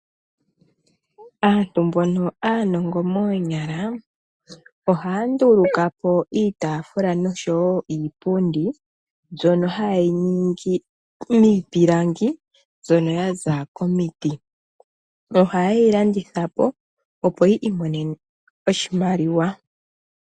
Aantu mbono aanongo moonyala ohaya nduluka po iitaafula nosho wo iipundi mbyono haye yi ningi miipilangi mbyono ya za komiti. Ohaye yi landitha po, opo yi imonene oshimaliwa.